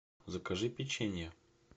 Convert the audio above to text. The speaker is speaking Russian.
закажи печенье